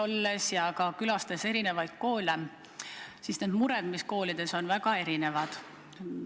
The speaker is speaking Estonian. Olen külastanud eri koole ja tean, et mured, mis koolides on, on väga erinevad.